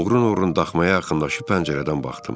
Oğrun-oğrun daxmaya yaxınlaşıb pəncərədən baxdım.